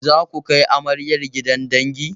Zaku kai amaryar gidan dangi?